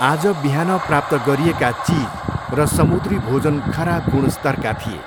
आज बिहान प्राप्त गरिएका चिज र समुद्री भोजन खराब गुणस्तरका थिए।